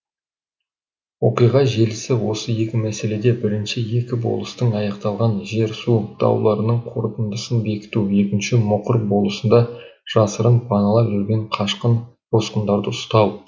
оқиға желісі осы екі мәселеде бірінші екі болыстың аяқталған жер су дауларының қорытындысын бекіту екінші мұқыр болысында жасырын паналап жүрген қашқын босқындарды ұстау